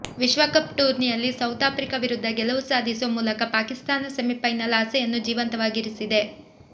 ವಿಶ್ವಕಪ್ ಟೂರ್ನಿಯಲ್ಲಿ South Africa ವಿರುದ್ಧ ಗೆಲುವು ಸಾಧಿಸೋ ಮೂಲಕ ಪಾಕಿಸ್ತಾನ ಸೆಮಿಫೈನಲ್ ಆಸೆಯನ್ನು ಜೀವಂತವಾಗಿರಿಸಿದೆ